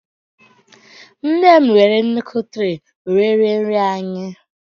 nnem were nnukwu tray were rie nri anyị